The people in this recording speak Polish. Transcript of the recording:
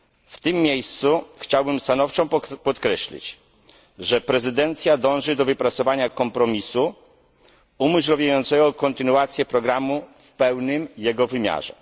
W tym miejscu chciałbym stanowczo podkreślić, że prezydencja dąży do wypracowania kompromisu umożliwiającego kontynuację programu w pełnym jego wymiarze.